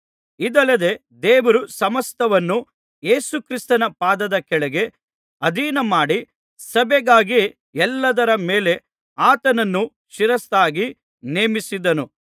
ಇದಲ್ಲದೆ ದೇವರು ಸಮಸ್ತವನ್ನೂ ಯೇಸುಕ್ರಿಸ್ತನ ಪಾದದ ಕೆಳಗೆ ಅಧೀನಮಾಡಿ ಸಭೆಗಾಗಿ ಎಲ್ಲಾದರ ಮೇಲೆ ಆತನನ್ನು ಶಿರಸ್ಸಾಗಿ ನೇಮಿಸಿದನು